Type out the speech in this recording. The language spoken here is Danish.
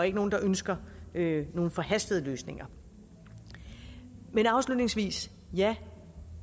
ikke nogen der ønsker nogle forhastede løsninger men afslutningsvis ja